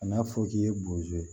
Kan'a fɔ k'i ye bozo ye